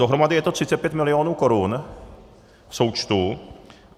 Dohromady je to 35 milionů korun v součtu.